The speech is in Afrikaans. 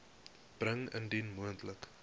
bring indien moontlik